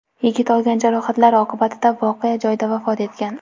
Yigit olgan jarohatlari oqibatida voqea joyida vafot etgan.